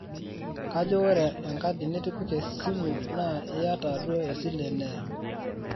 kajo ore enkadi nitipika e simu naa iyata duo esile neya